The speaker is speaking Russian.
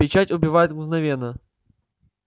печать убивает мгновенно